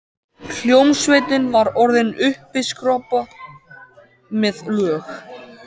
Hljómsveitin var orðin uppiskroppa með lög.